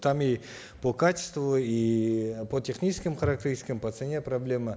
там и по качеству и по техническим характеристикам по цене проблема